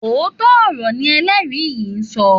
Òótọ́ ọ̀rọ̀ ni ẹlẹ́rìí yìí ń sọ.